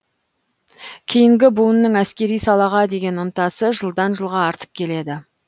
кейінгі буынның әскери салаға деген ынтасы жылдан жылға артып келеді